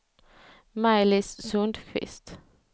Maj-Lis Sundkvist